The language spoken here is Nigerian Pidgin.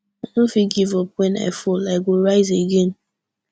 i no fit give up wen i fall i go rise again